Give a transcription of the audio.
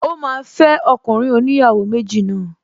Ó máa fẹ́ ọkùnrin oníyàwó méjì náà